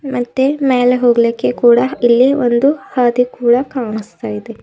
ಮತ್ತೆ ಮ್ಯಾಲೆ ಹೋಗಲಿಕ್ಕೆ ಕೂಡ ಇಲ್ಲಿ ಒಂದು ಹಾದಿ ಕೂಡ ಕಾಣಿಸ್ತಾ ಇದೆ.